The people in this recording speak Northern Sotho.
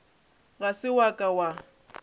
ga se wa ka wa